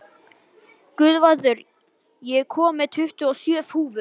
Guðvarður, ég kom með tuttugu og sjö húfur!